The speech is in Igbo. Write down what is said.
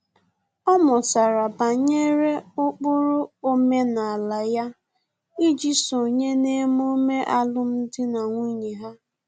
Ọ mụtara banyere ụkpụrụ omenala ya iji sonye n'emume alụmdi na nwunye ha